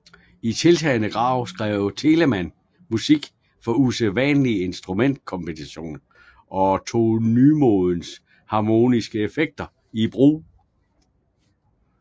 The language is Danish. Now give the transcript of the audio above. I tiltagende grad skrev Telemann musik for usædvanlige instrumentkombinationer og tog nymodens harmoniske effekter i brug